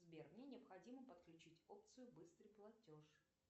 сбер мне необходимо подключить опцию быстрый платеж